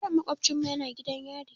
Yaron maƙofcinmu yana gidan yari.